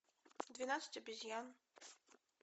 двенадцать обезьян